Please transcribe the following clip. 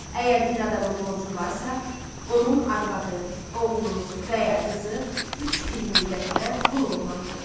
Əgər bir adamın borcu varsa, onun arvadı, oğlu və ya qızı üç il müddətinə qul olmalıdır.